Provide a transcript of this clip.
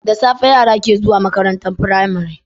Da safe yara ke zuwa makarantar pramari